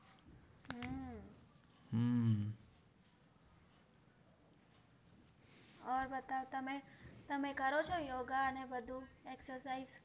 ઓર બતાઓ તમે તમે કરો છો યોગા અને બધું exersice